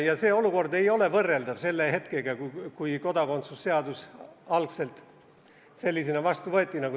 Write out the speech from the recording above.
See olukord ei ole võrreldav selle hetkega, kui kodakondsuse seadus algselt sellisena vastu võeti.